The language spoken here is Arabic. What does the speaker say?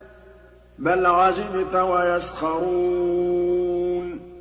بَلْ عَجِبْتَ وَيَسْخَرُونَ